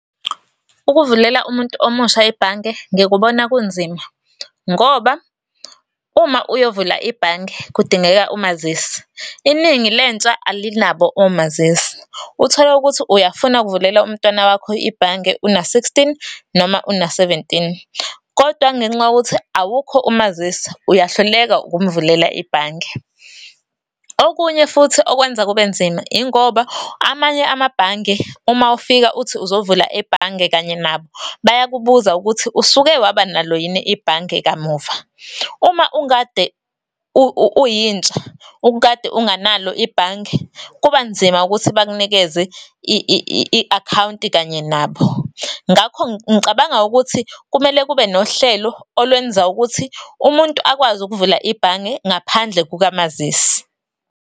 Ukuvulela umuntu omusha ibhange ngikubona kunzima, ngoba uma uyovula ibhange kudingeka umazisi. Iningi lentsha alinabo omazisi. Uthole ukuthi uyafuna ukuvulela umntwana wakho ibhange, una-sixteen noma, una-seventeen, kodwa ngenxa yokuthi awukho umazisi, uyahluleka ukumvulela ibhange. Okunye futhi okwenza kube nzima, yingoba amanye amabhange, uma ufika uthi uzovula ebhange kanye nabo, bayakubuza ukuthi, usuke wabanalo yini ibhange kamuva. Uma ukade uyintsha, ukade unganalo ibhange, kuba nzima ukuthi bakunikeze i-akhawunti kanye nabo. Ngakho ngicabanga ukuthi, kumele kube nohlelo olwenza ukuthi umuntu akwazi ukuvula ibhange ngaphandle kukamazisi.